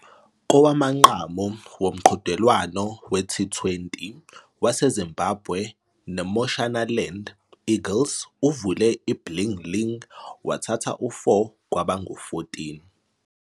Kowamanqamu womqhudelwano we-T20 waseZimbabwe neMashonaland Eagles uvule iblingling wathatha u-4 kwaba ngu-14.